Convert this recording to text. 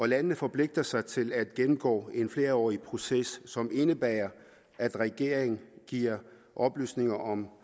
landene forpligter sig til at gennemgå en flerårig proces som indebærer at regeringen giver oplysninger om